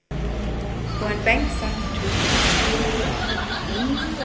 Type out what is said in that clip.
På en benk satt det to slitne karer.